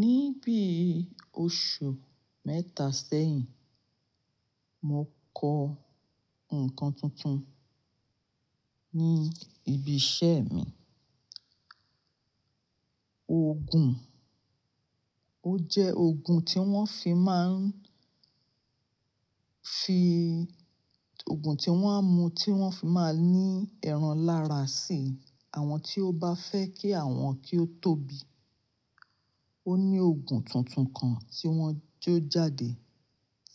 Ní bí oṣù mẹ́ta sẹ́yìn, mo kọ ǹkan tuntun ní ibi iṣẹ́ mi. Òògùn, ó jẹ́ òògùn tí wọ́n fi máa ń fi-- òògùn tí wọ́n á mú tí wọ́n fi máa ń ní ẹran lára sì àwọn tí ó bá fẹ́ kí àwọn kí ó tóbi. Ó ní òògùn tuntun kan tí wọ́n jó jáde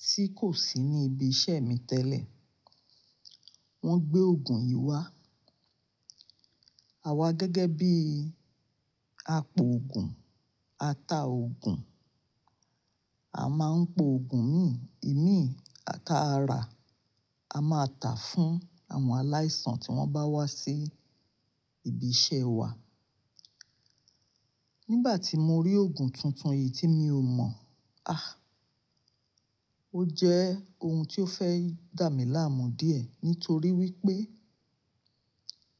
tí kò sí ní ibi iṣẹ́ mi tẹ́lẹ̀. Wọ́n gbé òògùn yìí wá. Àwa gẹ́gẹ́ bí apòògùn, ataòògùn, a máa ń po òògùn mí, ìmí, ata ara, a máa tà fún àwọn aláìsàn tí wọ́n bá wá sí ibi iṣẹ́ wa. Nígbà tí mo rí òògùn tuntun yìí tí mi ò mọ̀, Ó jẹ́ ohun tí ó fẹ́ dà mí láàmú díẹ̀ nítorí wípé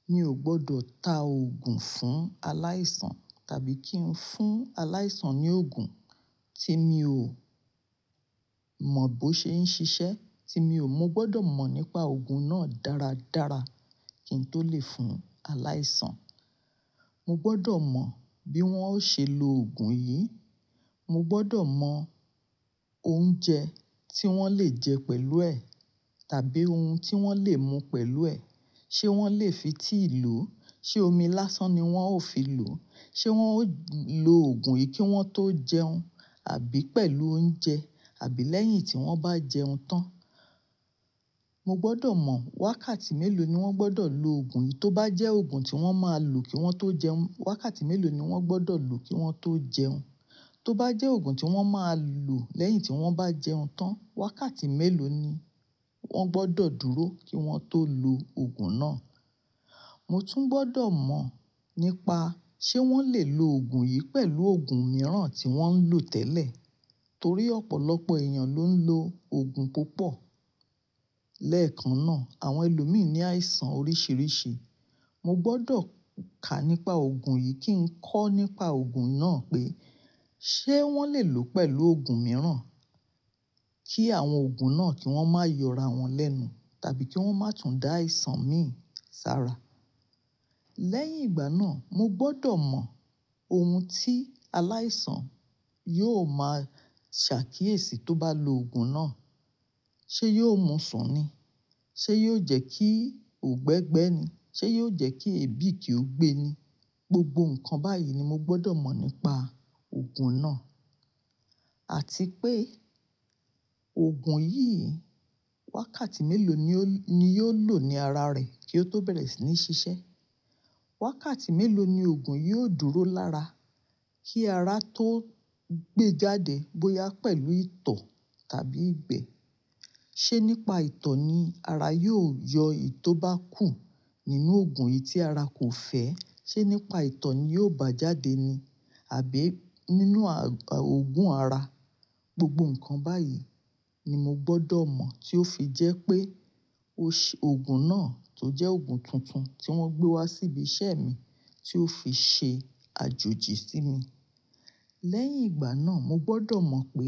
mi ò gbọdọ̀ ta òògùn fún aláìsàn tàbí kí n fún aláìsàn ní òògùn tí mi ò mọ̀ bó ṣe ń ṣiṣẹ́, tí mi ò-- mo gbọdọ mọ̀ nípa òògùn náà dáradára kí n tó lè fún aláìsàn. Mo gbọdọ̀ mọ̀ bí wọ́n ó ṣe lo òògùn yìí. Mo gbọdọ̀ mọ̀ oúnjẹ tí wọ́n lè jẹ pẹ̀lú ẹ̀ tàbí ohun tí wọ́n lè mú pẹ̀lú ẹ̀. Ṣé wọ́n lè fi tea lo? Ṣé omi lásán ni wọ́n ó fi lò ó? Ṣé wọ́n ó lo òògùn yìí kí wọ́n tó jẹun àbí pẹ̀lú oúnjẹ àbí lẹ́yìn tí wọ́n bá jẹun tán? Mo gbọdọ̀ mọ̀ wákàtí mélòó ni wọ́n gbọdọ̀ lo òògùn yìí. Tó bá jẹ́ òògùn tí wọ́n máa lò kí wọ́n tó jẹun, wákàtí mélòó ni wọ́n gbọdọ̀ lò kí wọ́n tó jẹun? Tó bá jẹ́ òògùn tí wọ́n máa lò lẹ́yìn tí wọ́n bá jẹun tán, wákàtí mélòó ni wọ́n gbọdọ̀ dúró kí wọ́n tó lo òògùn náà? Mo tún gbọdọ̀ mọ̀ nípa ṣé wọ́n lè lo òògùn yìí pẹ̀lú òògùn mìíràn tí wọ́n ń lò tẹ́lẹ̀ torí ọ̀pọ̀lọpọ̀ èèyàn ló ń lo òògùn púpọ̀. Lẹ́ẹ̀kan náà, àwọn ẹlòmíràn ní àìsàn oríṣiríṣi. Mo gbọdọ̀ kà nípa òògùn yìí kí n kọ́ nípa òògùn náà pé ṣé wọ́n lè lò ó pẹ̀lú òògùn mìíràn kí àwọn òògùn náà kí wọ́n máa yọra wọn lẹ́nu tàbí kí wọ́n má tún dá àìsàn mí sára. Lẹ́yìn ìgbà náà, mo gbọdọ̀ mọ̀ ohun tí aláìsàn yóò má ṣàkíyèsí tó bá lo òògùn náà. Ṣé yóò mú sùn ni? Ṣé yóò jẹ́ kí ó gbẹ́gbẹ́ ni? Ṣé yóò jẹ́ kí èébì kí ó gbe ni? Gbogbo nǹkan báyìí ni mo gbọdọ̀ mọ̀ nípa òògùn náà àti pé òògùn yìí wákàtí mélòó ni ó ni yóò lò ní ara rẹ̀ kí ó tó bẹ̀rẹ̀ sí ní ṣiṣẹ́. Wákàtí mélòó ni òògùn yìí ó dúró lára kí ara tó gbe jáde bóyá pẹ̀lú ìtọ̀ tàbí ìgbẹ́. Ṣé nípa ìtọ̀ ni ara yóò yọ ì tó bá kù nínú òògùn yìí tí ara kò fẹ́? Ṣé nípa ìtọ̀ ni yóò bá jáde ni? Àbí nínú òògùn ara? Gbogbo nǹkan báyìí ni mo gbọdọ̀ mọ̀ tí ó fi jẹ́ pé o ṣe òògùn náà tó jẹ́ òògùn tuntun tí wọ́n gbé wá sí ibi iṣẹ́ mi tí ó fi ṣe àjòjì sí mi. Lẹ́yìn ìgbà náà, mo gbọdọ̀ mọ̀ pé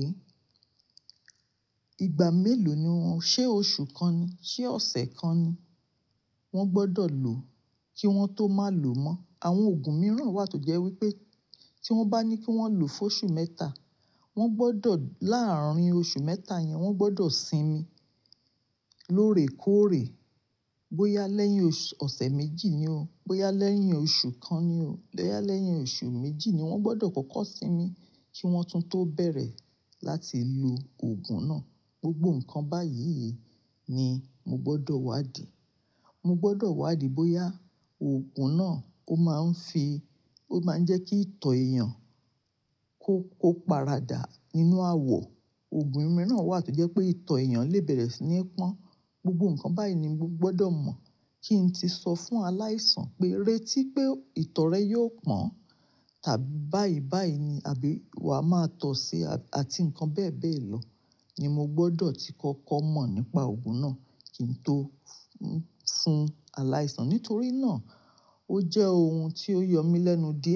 ìgbà mélòó ni wọ́n-- ṣé oṣù kan ni? Ṣé ọ̀sẹ̀ kan ni wọ́n gbọdọ̀ lò kí wọ́n tó má lò mọ́? Àwọn òògùn mìíràn wà tó jẹ́ wípé tí wọ́n bá ní kí wọ́n lò fún oṣù mẹ́ta wọ́n gbọdọ̀ láàárín oṣù mẹ́ta yẹn wọ́n gbọdọ̀ sinmi lóòrèkóòrè bóyá lẹ́yìn oṣù-- ọ̀sẹ̀ méjì ni ó, bóyá lẹ́yìn oṣù kan ni ó, bóyá lẹ́yìn oṣù méjì ni wọ́n gbọdọ̀ kọ́kọ́ sinmi kí wọ́n tún tó bẹ̀rẹ̀ láti lo òògùn náà. Gbogbo nǹkan báyìí ni mo gbọdọ̀ wádìí. Mo gbọdọ̀ wádìí bóyá òògùn náà ó máa ń fi-- ó máa ń jẹ́ kí ìtọ̀ èèyàn kó, kó paradà nínú àwọ̀. Òògùn mìíràn wà tó jẹ́ pé ìtọ̀ èèyàn lè bẹ̀rẹ̀ sí ní pọ́n. Gbogbo nǹkan báyìí ni mo gbọdọ̀ mọ̀ kí n ti sọ fún aláìsàn pé retí pé ìtọ̀ rẹ yóò pọ́n tàbí báyìí báyìí ni àbí wa máa tọ̀ ọ́ sí ai- àti nǹkan bẹ́ẹ̀bẹ́ẹ̀ lọ ni mo gbọdọ̀ ti kọ́kọ́ mọ̀ nípa òògùn náà kí n tó fún aláìsàn nítorí náà ó jẹ́ ohun tí ó yọ mí lẹ́nu diẹ.